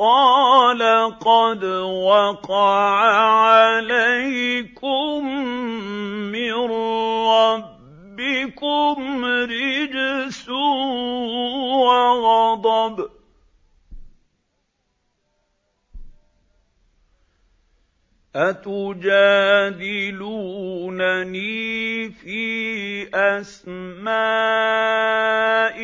قَالَ قَدْ وَقَعَ عَلَيْكُم مِّن رَّبِّكُمْ رِجْسٌ وَغَضَبٌ ۖ أَتُجَادِلُونَنِي فِي أَسْمَاءٍ